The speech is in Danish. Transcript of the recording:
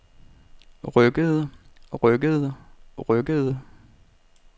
rykkede rykkede rykkede